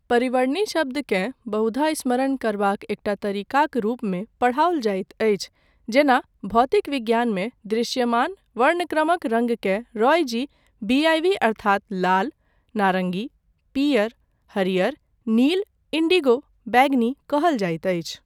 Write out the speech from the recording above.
परिवर्णी शब्दकेँ बहुधा स्मरण करबाक एकटा तरीकाक रूपमे पढ़ाओल जाइत अछि, जेना भौतिक विज्ञानमे दृश्यमान वर्णक्रमक रङ्गकेँ रॉय जी बीआईवी अर्थात लाल, नारंगी, पीयर, हरियर, नील, इंडिगो, बैंगनी कहल जाइत अछि।